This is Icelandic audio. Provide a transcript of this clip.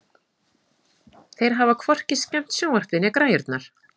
Þeir hafa hvorki skemmt sjónvarpið né græjurnar.